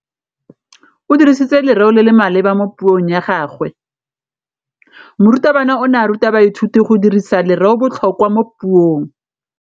O dirisitse lerêo le le maleba mo puông ya gagwe. Morutabana o ne a ruta baithuti go dirisa lêrêôbotlhôkwa mo puong.